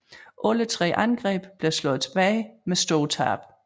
Alle tre angreb blev slået tilbage med store tab